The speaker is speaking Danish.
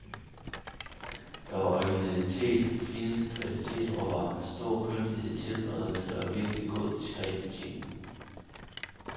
Der var originalitet, fineste kvalitet råvarer, stor kyndighed i tilberedningen og virkelig god, diskret betjening.